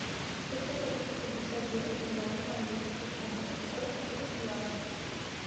хочу купить пятьдесят девять миллионов английских фунтов сколько это в юанях